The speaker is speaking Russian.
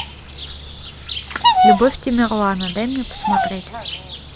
любовь тамерлана дай мне посмотреть